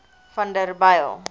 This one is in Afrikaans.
vanderbijl